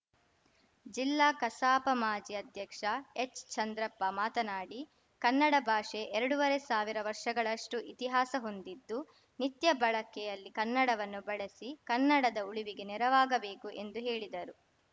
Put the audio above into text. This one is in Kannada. ಜಿಲ್ಲಾ ಕಸಾಪ ಮಾಜಿ ಅಧ್ಯಕ್ಷ ಎಚ್‌ಚಂದ್ರಪ್ಪ ಮಾತನಾಡಿ ಕನ್ನಡ ಭಾಷೆ ಎರಡುವರೆ ಸಾವಿರ ವರ್ಷಗಳಷ್ಟುಇತಿಹಾಸ ಹೊಂದಿದ್ದು ನಿತ್ಯ ಬಳಕ್ಕೆಯಲ್ಲಿ ಕನ್ನಡವನ್ನು ಬಳಿಸಿ ಕನ್ನಡದ ಉಳಿವಿಗೆ ನೆರವಾಗಬೇಕು ಎಂದು ಹೇಳಿದರು